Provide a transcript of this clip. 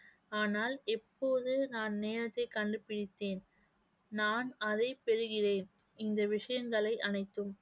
ஆனால் இ ப்போது நான் நேரத்தைக் கண்டுபிடித்தேன், நான் அதை பெறுகிறேன் இந்த விஷயங்களை அனைத்தும்